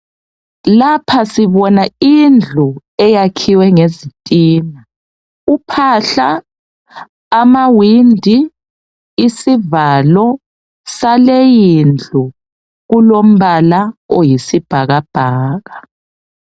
Lapha sibona indlu eyakhiwe ngezitina. Uphahla, amawindi isivalo saleyi indlu kulombala oyisibhakabhaka.